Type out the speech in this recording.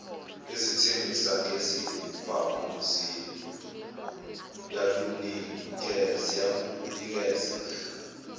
ezithengisa ngezibhamu ziyalunikeza